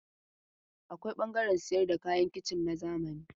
Akwai ɓangaren sayar da kayan kicin na zamani.